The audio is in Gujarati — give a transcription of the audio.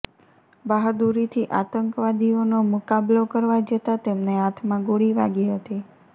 બહાદુરીથી આતંકવાદીઓનો મુકાબલો કરવા જતા તેમને હાથમાં ગોળી વાગી હતી